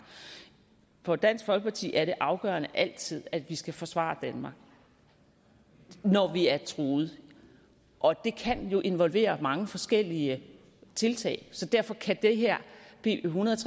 for dansk folkeparti er det afgørende altid at vi skal forsvare danmark når vi er truet og det kan jo involvere mange forskellige tiltag så derfor kan det her b en hundrede og